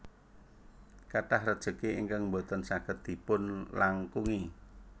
Kathah rejeki ingkang boten saged dipun langkungi